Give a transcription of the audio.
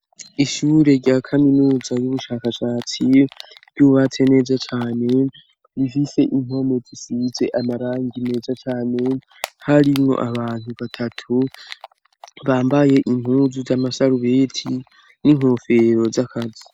Ishure rya kaminuza y'ubushakashatsi, ryubatse neza cane, rifise impome zisize amarangi meza cane, harimwo abantu batatu bambaye impuzu z'amasarubeti n'inkofero z'akazi.